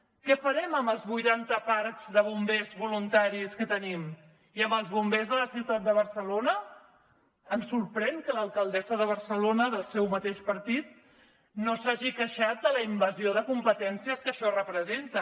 què farem amb els vuitanta parcs de bombers voluntaris que tenim i amb els bombers de la ciutat de barcelona ens sorprèn que l’alcaldessa de barcelona del seu mateix partit no s’hagi queixat de la invasió de competències que això representa